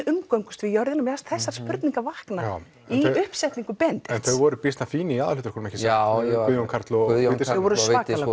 umgöngumst við jörðina mér fannst þessar spurningar vakna í uppsetningu Benedikts þau voru býsna fín í aðalhlutverkunum ekki satt Guðjón Karl og Bryndís þau voru svakalega